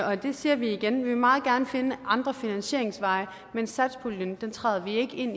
og det siger vi igen vi vil meget gerne finde andre finansieringsveje men satspuljen træder vi ikke ind